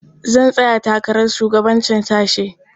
Zan tsaya takarar shugabancin sashe.